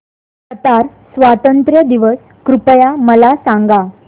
Qatar स्वातंत्र्य दिवस कृपया मला सांगा